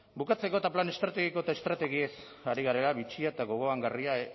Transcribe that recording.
bukatzeko eta plan estrategiko eta estrategiez ari garela bitxia eta gogoangarria